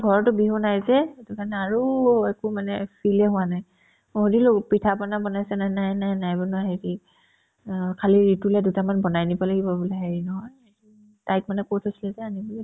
ঘৰতো বিহু নাই যে সেইটো কাৰণে আৰু একো মানে feel য়ে হোৱা নাই মই সুধিলো পিঠা-পনা বনাইছেনে নাই নাই নাই বনোৱা সেই কি অ খালি তোলে দুটামান বনাই নিব লাগিব বোলে হেৰি নহয় তাইক মানে কৈ থৈছিলে যে আনিম বুলি